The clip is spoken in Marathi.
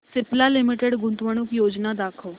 सिप्ला लिमिटेड गुंतवणूक योजना दाखव